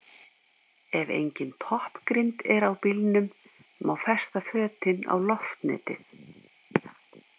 Ef engin toppgrind er á bílnum má festa fötin á loftnetið.